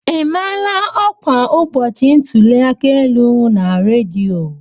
E maala ọkwa ụbọchị ntụli aka elu na redio?